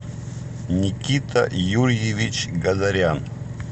никита юрьевич гадарян